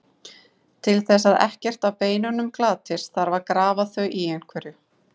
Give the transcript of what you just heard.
Til þess að ekkert af beinunum glatist þarf að grafa þau í einhverju.